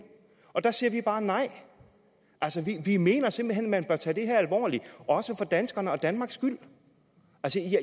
der siger vi bare nej altså vi mener simpelt hen at man bør tage det her alvorligt også for danskernes og danmarks skyld